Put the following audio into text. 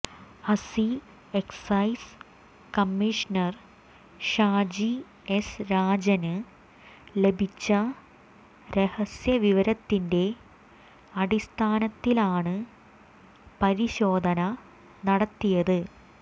അസി excise commissioner Shaji S രാജന് ലഭിച്ച രഹസ്യവിവരത്തിന്റെ അടിസ്ഥാനത്തിലാണ് പരിശോധന നടത്തിയത്